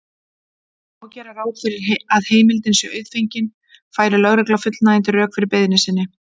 Má gera ráð fyrir að heimildin sé auðfengin færi lögregla fullnægjandi rök fyrir beiðni sinni.